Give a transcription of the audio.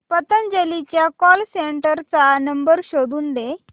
पतंजली च्या call centre चा number शोधून दे